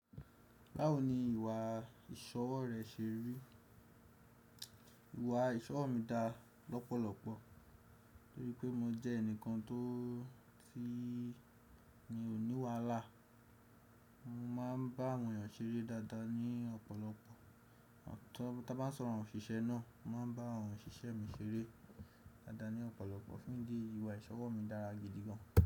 Báwo ni ìwà ìsọ̀wọ́ rẹ ṣe rí? Ìwà ìsọ̀wọ́ mi dá lọ́pọ̀lọpọ̀ torípé mo jẹ́ ẹnìkan tó ti mio ni wàhalà. Mo máa ń bá àwọn èèyàn ṣeré dáadáa ní ọ̀pọ̀lọpọ̀. Tábá ń sọ̀rọ̀ àwọn òṣìṣẹ́ náà, mo máa ń bá àwọn òṣìṣẹ́ mi ṣeré dáadáa ní ọ̀pọ̀lọpọ̀ fún idi eyi ìwà ìsọ̀wọ́ mi dára gidi gan.